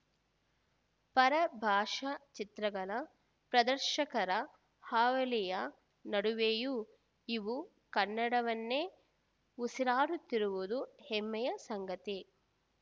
ಪರಭಾಷಾ ಚಿತ್ರಗಳ ಪ್ರದರ್ಶಕರ ಹಾವಳಿಯ ನಡುವೆಯೂ ಇವು ಕನ್ನಡವನ್ನೇ ಉಸಿರಾಡುತ್ತಿರುವುದು ಹೆಮ್ಮೆಯ ಸಂಗತಿ